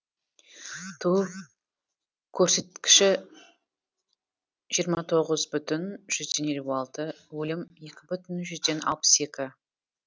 туу көрсеткіші жиырма тоғыз бүтін жүзден елу алты өлім екі бүтін жүзден алпыс екі